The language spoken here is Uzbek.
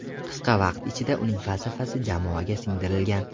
Qisqa vaqt ichida uning falsafasi jamoaga singdirilgan.